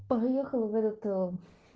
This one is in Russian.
поехала в этот ээ